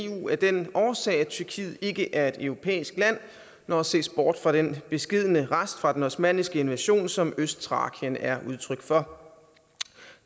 i eu af den årsag at tyrkiet ikke er et europæisk land når der ses bort fra den beskedne rest fra den osmanniske invasion som østtrakien er udtryk for